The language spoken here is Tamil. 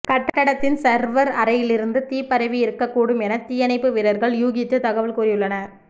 கட்டடத்தின் சர்வர் அறையிலிருந்து தீ பரவி இருக்கக்கூடும் என்று தீயணைப்பு வீரர்கள் யூகித்து தகவல் கூறியுள்ளனர்